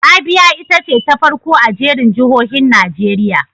Abia ita ce ta farko a jerin jihohin Najeriya.